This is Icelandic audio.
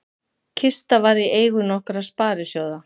Kista var í eigu nokkurra sparisjóða